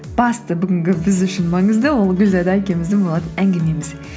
басты бүгінгі біз үшін маңызды ол гүлзада екеуміздің болатын әңгімеміз